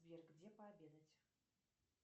сбер где пообедать